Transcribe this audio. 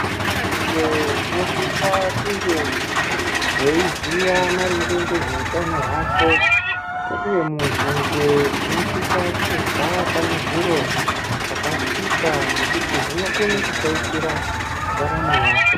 Muntu nje unosisa kuti weiziya maringe nezvehutano hwako uye muntu nje unosisa kubva pane zviro zvakasvipa nekuti zvinokona kushaishira ndaramo yako.